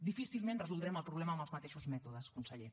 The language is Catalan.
difícilment resoldrem el problema amb els mateixos mètodes conseller